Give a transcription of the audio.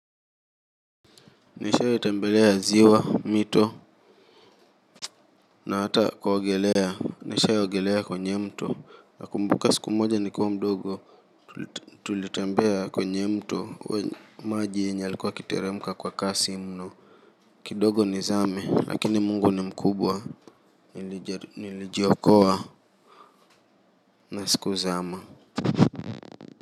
Nishawai tembelea ziwa mito na hata kuogelea. Nishawai ogelea kwenye mto nakumbuka siku moja nikuwa mdogo tulitembea kwenye mto maji yenye yalikuwa yakiteremka kwa kasi mno kidogo nizame lakini Mungu ni mkubwa. Nilijiokoa na sikuzama.